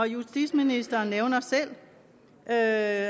justitsministeren nævner selv at